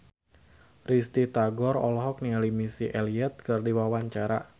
Risty Tagor olohok ningali Missy Elliott keur diwawancara